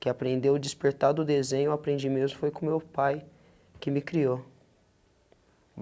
Que aprendeu o despertar do desenho, aprendi mesmo, foi com meu pai, que me criou.